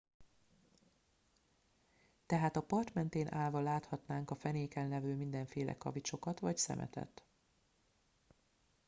tehát a part mentén állva láthatnánk a fenéken levő mindenféle kavicsokat vagy szemetet